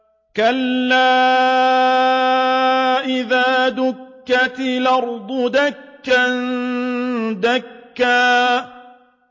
كَلَّا إِذَا دُكَّتِ الْأَرْضُ دَكًّا دَكًّا